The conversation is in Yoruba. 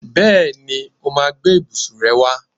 Bẹ́ẹ̀ni, ó máa gbé ibùsùn rẹ wá.